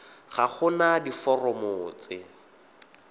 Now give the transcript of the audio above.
ga go na diforomo tse